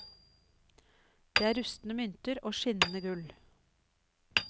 Det er rustne mynter og skinnende gull.